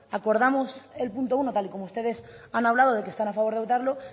acordamos el punto uno tal y como ustedes han hablado de que están a favor de votarlo